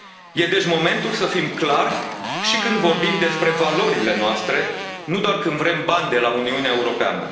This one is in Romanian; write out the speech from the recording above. Este, deci, momentul să fim clari și când vorbim despre valorile noastre, nu doar când vrem bani de la Uniunea Europeană.